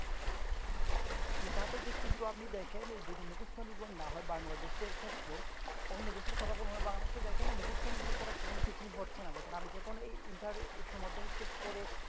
জি তা তো ঠিক কিন্তু আপনি দেখেন যদি মুখস্ত নির্ভর না হয় Bangladesh এর ক্ষেত্রে অন্য দেশের কথা বলবোনা Bangladesh দেখেন না বহুত খুন নির্ভর ছাড়া কোনো কিছুই হচ্ছে না দেখেন আপনি যখন এই inter এ উচ্চ মাধ্যমিক শেষ করে